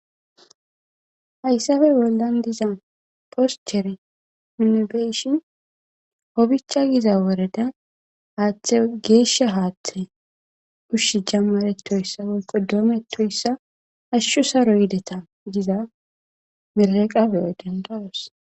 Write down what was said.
Hayssafe bollan diza poschere minibeyshin obicha giza woreda haaththe geeshsha haaththe ushshi jamaretoyssa wolqo doometoyssa ashshu saro yideta giza miraqabeyo dendawos.